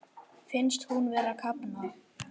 Finnst hún vera að kafna.